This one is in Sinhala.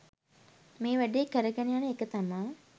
මේ වැඩේ කරගෙන යන එක තමා